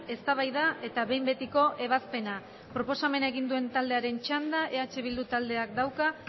eztabaida eta behin betiko ebazpena proposamena egin duen taldearen txanda eh bildu taldeak dauka